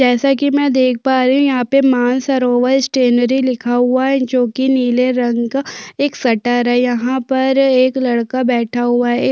जैसा की मै देख पा रही हूँ यहाँ पे मानसरोवर स्टैनरी लिखा हुआ है जो की नीले रंग का एक शटर है यहाँ पर एक लड़का बैठा हुआ है एक --